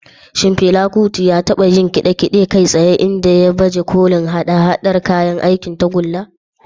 Shin Fela Kuti ya taba yin kide-kide kai tsaye inda ya baje kolin haɗa-haɗar kayan aikin tagulla?